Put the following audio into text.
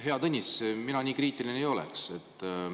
Hea Tõnis, mina nii kriitiline ei oleks.